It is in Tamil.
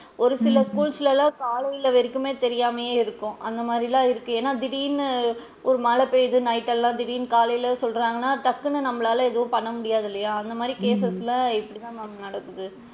ஒரு சில school லலா காலைல வரைக்குமே தெரியாம இருக்கும் அந்த மாதிரிலா இருக்கு ஏன்னா திடீர்ன்னு ஒரு மழை பெய்யிது night எல்லாம் திடீர்ன்னு காலைல சொல்றாங்கனா டக்குன்னு நம்மளால எதும் பண்ண முடியாது இல்லையா அந்த மாதிரி cases ல இப்படி தான் ma'am நடக்குது.